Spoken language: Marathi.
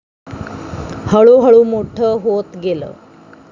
हळूहळू मोठ होत गेल.